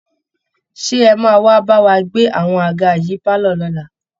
Ṣé ẹ máa wá bá wa gbé àwọn àga yìí pálọ̀ lọ́la